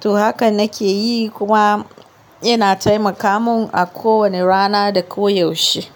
to haka nake yi kuma yana taimaka mun a ko wane rana da koyaushe.